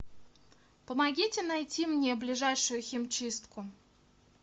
помогите найти мне ближайшую химчистку